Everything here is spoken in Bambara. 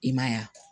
I ma ye wa